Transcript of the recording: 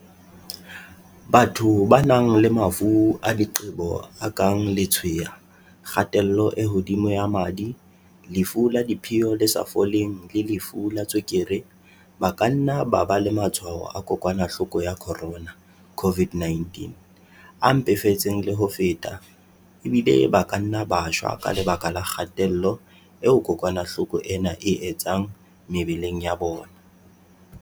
Batho ba nang le mafu a diqebo a kang letshweya, kgatello e hodimo ya madi, lefu la diphio le sa foleng le lefu la tswe-kere, ba ka nna ba ba le matshwao a kokwana-hloko ya corona COVID-19 a mpefetseng le ho feta, ebile ba ka nna ba shwa ka lebaka la kga-tello eo kokwanahloko ena e e etsang mebeleng ya bona.